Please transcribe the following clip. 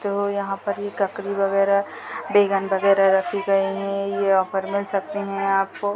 जो यहाँ पर यह ककड़ी वगेरह बेगन वगेरह रखी गई है यह ऑफर मिल सकते है आपको --